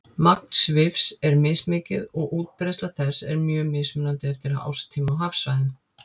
Magn svifs er mismikið og útbreiðsla þess er mjög mismunandi eftir árstíma og hafsvæðum.